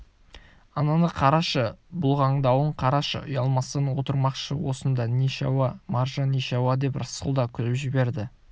ананы қарашы бұлғаңдауын қарашы ұялмастан отырмақшы осында нешауа маржа нешауа деп рысқұл да күліп жіберді